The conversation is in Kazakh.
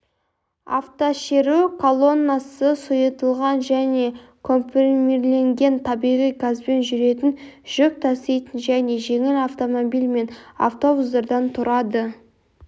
автошеру колоннасы сұйытылған және компримирленген табиғи газбен жүретін жүк таситын және жеңіл автомобиль мен автобустардан тұрады